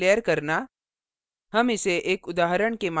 structure को declaration घोषित करना